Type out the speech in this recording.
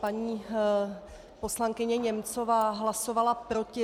Paní poslankyně Němcová hlasovala proti.